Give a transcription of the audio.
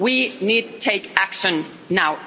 We need to take action now.